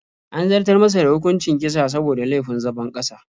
An zartar masa da hukuncin kisa saboda laifin zabon ƙasa.